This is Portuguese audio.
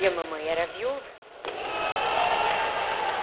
E a mamãe era viúva.